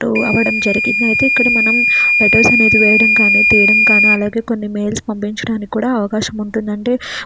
ఇక్కడ ఒక పెద్ద తడి చెట్టు ఉంది . దాని కింద ఒక మనిషి నిలబడి ఉన్నాడు అతని చేతిలో ఒక కుండా ఉన్నది.